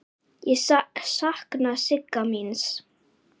Ég sakna Sigga míns.